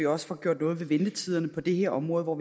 også får gjort noget ved ventetiderne på det her område hvor